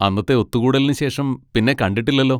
അന്നത്തെ ഒത്തുകൂടലിന് ശേഷം പിന്നെ കണ്ടിട്ടില്ലല്ലോ.